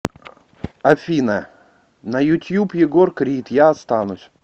афина на ютуб егор крид я останусь